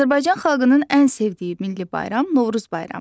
Azərbaycan xalqının ən sevdiyi milli bayram Novruz bayramıdır.